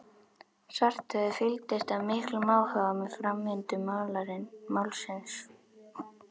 Svarthöfði fylgdist af miklum áhuga með framvindu málsins.